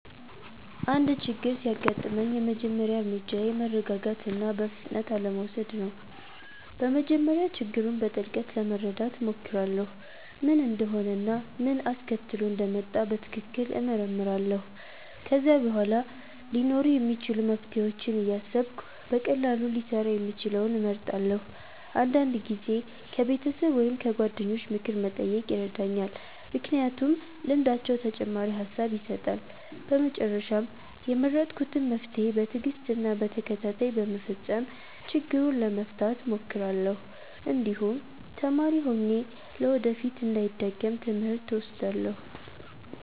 አንድ ችግር ሲያጋጥመኝ የመጀመሪያ እርምጃዬ ማረጋጋት እና በፍጥነት አለመውሰድ ነው። በመጀመሪያ ችግሩን በጥልቅ ለመረዳት እሞክራለሁ፣ ምን እንደሆነ እና ምን አስከትሎት እንደመጣ በትክክል እመረምራለሁ። ከዚያ በኋላ ሊኖሩ የሚችሉ መፍትሄዎችን እያሰብሁ በቀላሉ ሊሰራ የሚችለውን እመርጣለሁ። አንዳንድ ጊዜ ከቤተሰብ ወይም ከጓደኞች ምክር መጠየቅ ይረዳኛል፣ ምክንያቱም ልምዳቸው ተጨማሪ ሐሳብ ይሰጣል። በመጨረሻም የመረጥኩትን መፍትሄ በትዕግስት እና በተከታታይ በመፈጸም ችግሩን ለመፍታት እሞክራለሁ፣ እንዲሁም ተማሪ ሆኜ ለወደፊት እንዳይደገም ትምህርት እወስዳለሁ።